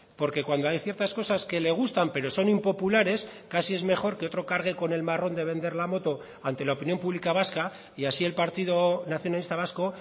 porque cuando hay ciertas cosas que le gustan pero son impopulares casi es mejor que otro cargue con el marrón de vender la moto ante la opinión pública vasca y así el partido nacionalista vasco